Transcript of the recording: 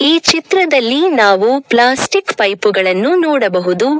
ಈ ಚಿತ್ರದಲ್ಲಿ ನಾವು ಪ್ಲಾಸ್ಟಿಕ್ ಪೈಪ್ ಗಳನ್ನು ನೋಡಬಹುದು.